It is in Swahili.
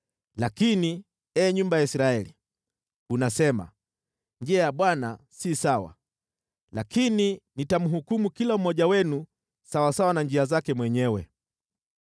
Lakini, ee nyumba ya Israeli, unasema, ‘Njia ya Bwana si sawa.’ Lakini nitamhukumu kila mmoja wenu sawasawa na njia zake mwenyewe.”